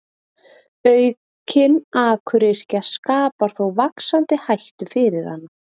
aukin akuryrkja skapar þó vaxandi hættu fyrir hana